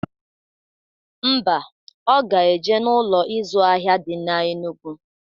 Ḿbà, Ọ ga-eje n'Ụlọ ịzụ ahịa di na Enugwu